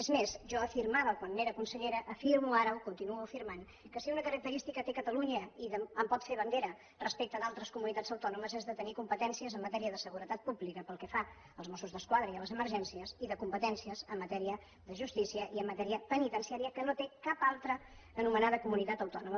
és més jo afirmava quan era consellera afirmo ara ho continuo afirmant que si una característica té catalunya i en pot fer bandera respecte d’altres comunitats autònomes és de tenir competències en matèria de seguretat pública pel que fa als mossos d’esquadra i a les emergències i competències en matèria de justícia i en matèria penitenciària que no té cap altra anomenada comunitat autònoma